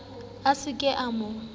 a sa ka a mo